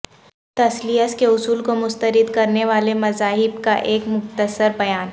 تثلیث کے اصول کو مسترد کرنے والے مذاہب کا ایک مختصر بیان